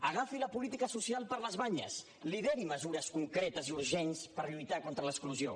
agafi la política social per les banyes lideri mesures concretes i urgents per lluitar contra l’exclusió